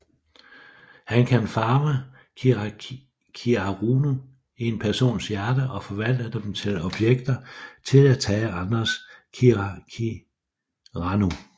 Han kan farve kirakiraru i en persons hjerte og forvandle dem til objekter til at tage andres kirakiraru